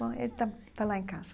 Bom, ele está está lá em casa.